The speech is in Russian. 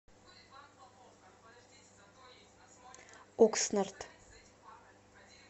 окснард